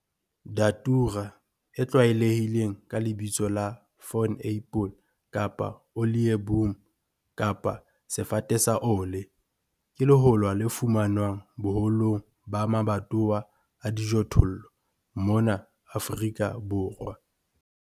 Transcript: Datura, e tlwaelehileng ka lebitso la 'Thorn apple' kapa 'Olieboom' kapa 'Sefate sa ole', ke lehola le fumanwang boholong ba mabatowa a dijothollo mona Afrika Borwa.